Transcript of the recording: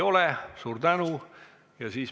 Küsimusi ei ole.